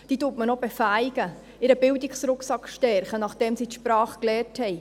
Man befähigt sie noch, stärkt ihren Bildungsrucksack, nachdem sie die Sprache gelernt haben.